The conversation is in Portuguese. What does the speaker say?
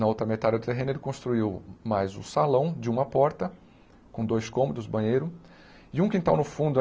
Na outra metade do terreno, ele construiu mais um salão de uma porta, com dois cômodos, banheiro, e um quintal no fundo.